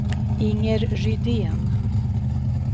Inger Rydén